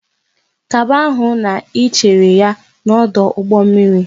Kaba ahụ ka Ị chere ya n'ọdụ ụgbọ mmiri!